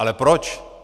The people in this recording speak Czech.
Ale proč?